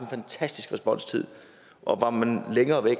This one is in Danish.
fantastisk responstid og var man længere væk